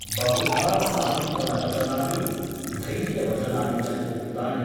बहुधा सान्त्वनवचनानि , धैर्यवचनानि च उक्तानि ।